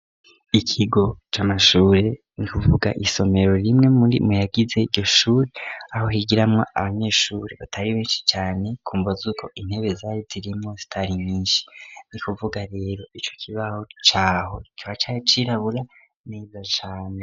Ikigo c'amashure ni kuvuga isomero rimwe muyagize iryo shure, aho higiramwo abanyeshure batari benshi cane, kumvo zuko intebe zari zirimwo zitari nyinshi. Ni kuvuga rero ico kibaho caho kikaba cari cirabura neza cane.